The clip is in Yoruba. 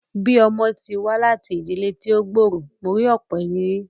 Bíi ọmọ tí wá láti ìdílé tí ó gbòòrò, mo ní ọ̀pọ̀ ìrírí